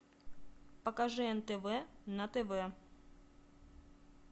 покажи нтв на тв